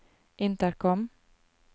intercom